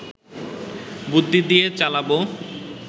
বুদ্ধি দিয়ে চালাবো